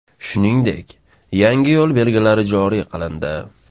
Shuningdek, yangi yo‘l belgilari joriy qilindi .